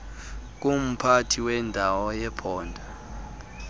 kumphathi wendawo yephondo